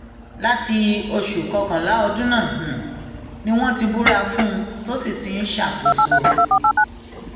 láti oṣù kọkànlá ọdún náà ni wọn ti búra fún un tó sì ti ń ṣàkóso